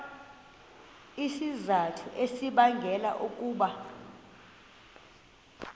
izizathu ezibangela ukuba